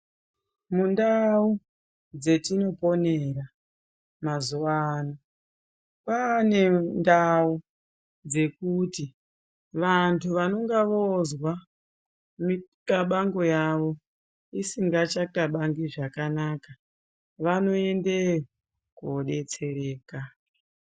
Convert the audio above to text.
Mundau dzetinoponera mazuwano kwane ndau dzekuti vantu vanonga vozwa mikabango yavo isingachakabangi zvakanaka vanoendeyo kodetsereka.